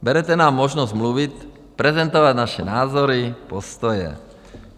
Berete nám možnost mluvit, prezentovat naše názory, postoje.